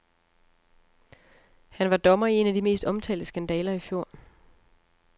Han var dommer i en af de mest omtalte skandaler i fjor.